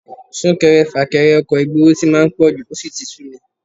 Sún-kẹrẹ-fà-kẹrẹ ọkọ̀ ìgboro tí máa ń pọ̀jù, ó sì ti súmi